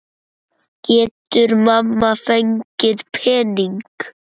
Getur mamma fengið pening?